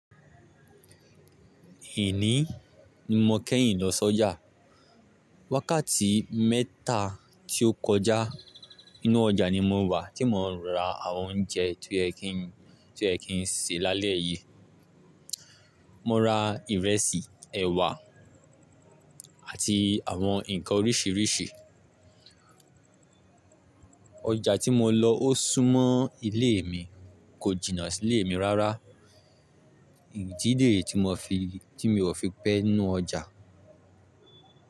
Èní ni mo kẹ́yìn lọ sọ́jà. Wákàtí mẹ́ta tí ó kọjá, inú ọjà ni mo wà kí mo n ra àwọn oúnjẹ tí o ye ki ń– tí o yẹ kí ń sè lálẹ́ yìí. Mo ra ìrẹsì, ẹ̀wà àti àwọn ǹkan oríṣiríṣi. Ọjà tí mo lọ ó súnmọ́ ilé mi, kò jìnà sí lé mi rárá. Ìdíde tí mo fi, tí mi ò fi pẹ́ nú ọjà.